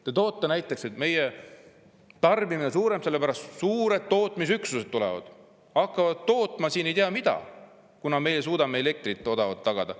Te toote näiteks, et meie tarbimine, sellepärast et suured tootmisüksused tulevad siia, hakkavad tootma ei tea mida, kuna meie suudame odavat elektrit tagada.